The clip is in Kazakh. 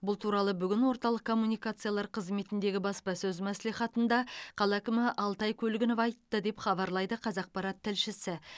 бұл туралы бүгін орталық коммуникациялар қызметіндегі баспасөз мәслихатында қала әкімі алтай көлгінов айтты деп хабарлайды қазақпарат тілшісі